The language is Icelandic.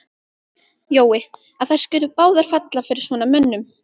Jói, að þær skuli báðar falla fyrir svona mönnum.